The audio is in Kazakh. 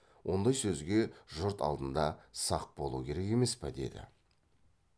ондай сөзге жұрт алдында сақ болу керек емес пе деді